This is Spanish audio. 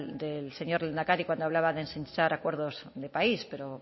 del señor lehendakari cuando hablaba de ensanchar acuerdos de país pero